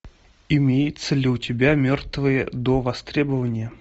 имеется ли у тебя мертвые до востребования